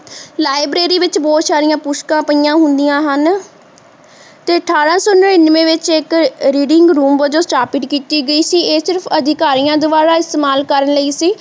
liberary ਵਿਚ ਬਹੁਤ ਸਾਰੀਆਂ ਪੁਸਤਕਾਂ ਪਾਈਆਂ ਹੁੰਦੀਆਂ ਹਨ ਤੇ ਅਠਾਰਹ ਸੋ ਨ੍ਰਿਨਾਵੇ ਵਿਚ ਇੱਕ reading room ਜੋ ਸਥਾਪਿਤ ਕੀਤੀ ਗਈ ਸੀ ਇਹ ਸਿਰਫ ਅਧਿਕਾਰੀਆਂ ਦੁਵਾਰਾ ਇਸਤੇਮਾਲ ਕਰਨ ਲਈ ਸੀ